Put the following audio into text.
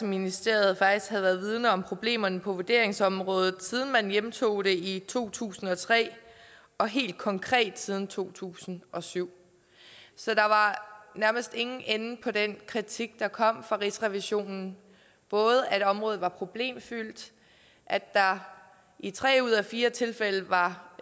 ministeriet faktisk havde været vidende om problemerne på vurderingsområdet siden man hjemtog det i to tusind og tre og helt konkret siden to tusind og syv så der var nærmest ingen ende på den kritik der kom fra rigsrevisionen at området var problemfyldt at der i tre ud af fire tilfælde var